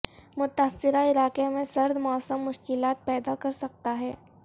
متاثرہ علاقے میں سرد موسم مشکلات پیدا کر سکتا ہے